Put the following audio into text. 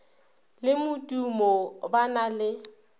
le modimo ba na le